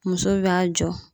Muso bɛ a jɔ.